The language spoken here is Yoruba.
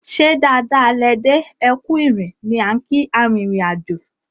"ṣe dáadáa lẹ dé, ẹkù ìrìn" ni á n kii arìnrìn-àjò.